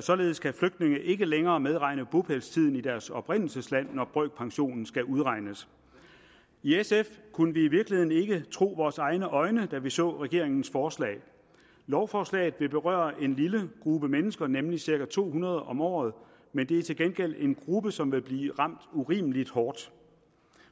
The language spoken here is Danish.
således kan flygtninge ikke længere medregne bopælstiden i deres oprindelsesland når brøkpensionen skal udregnes i sf kunne vi i virkeligheden ikke tro vores egne øjne da vi så regeringens forslag lovforslaget vil berøre en lille gruppe mennesker nemlig cirka to hundrede om året men det er til gengæld en gruppe som vil blive ramt urimelig hårdt